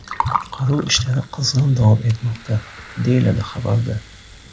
Qutqaruv ishlari qizg‘in davom etmoqda”, deyiladi xabarda.